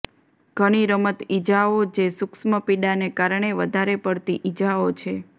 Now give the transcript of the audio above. ઘણી રમત ઇજાઓ જે સૂક્ષ્મ પીડાને કારણે વધારે પડતી ઇજાઓ છે